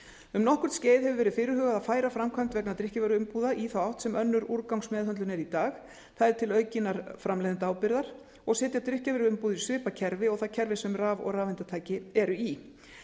um nokkurt skeið hefur verið fyrirhugað að færa framkvæmd vegna drykkjarvöruumbúða í þá átt sem önnur úrgangsmeðhöndlun er í dag það er til aukinnar framleiðendaábyrgðar og setja drykkjarvöru í svipað kerfi og það kerfi sem raf og rafeindatæki eru í